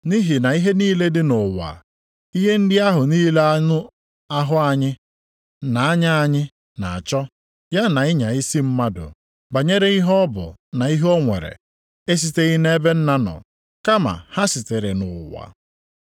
Nʼihi na ihe niile dị nʼụwa, ihe ndị ahụ niile anụ ahụ anyị, na anya anyị na-achọ, ya na ịnya isi mmadụ banyere ihe ọ bụ na ihe o nwere, esiteghị nʼebe Nna nọ, kama ha sitere nʼụwa.